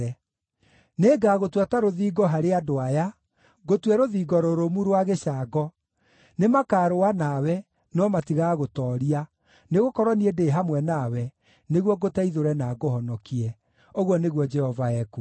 Nĩngagũtua ta rũthingo harĩ andũ aya, ngũtue rũthingo rũrũmu rwa gĩcango; nĩmakarũa nawe, no matigagũtooria, nĩgũkorwo niĩ ndĩ hamwe nawe, nĩguo ngũteithũre na ngũhonokie,” ũguo nĩguo Jehova ekuuga.